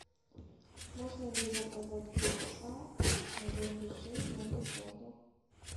можно ли заказать певца на день рождения в отеле